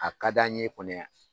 A ka di an ye kɔnɔ yan